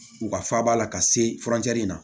U ka faaba la ka se furancɛ in na